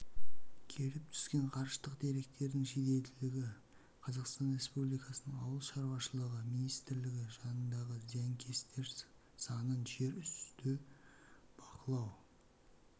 келіп түсіп жатқан ғарыштық деректердің жеделділігі қазақстан республикасының ауыл шаруашылығы министрлігі жанындағы зиянкестер санын жерүсті бақылау